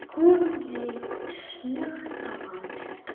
Konan leit snöggt á hann.